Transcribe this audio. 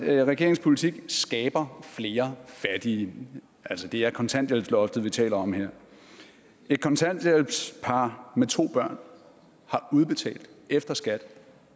at regeringens politik skaber flere fattige altså det er kontanthjælpsloftet vi taler om her et par på med to børn har udbetalt efter skat